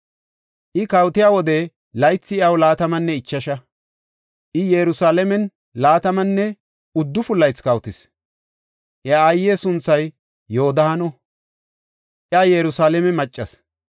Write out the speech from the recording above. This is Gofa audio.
I kawotiya wode laythi iyaw laatamanne ichasha; I Yerusalaamen laatamanne uddufun laythi kawotis. Iya aaye sunthay Yoodanoo; iya Yerusalaame maccas.